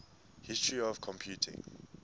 history of computing